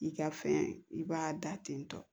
I ka fɛn i b'a da ten tɔ